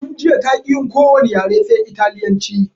Tun jiya taƙi yin ko wani yare sai italyanci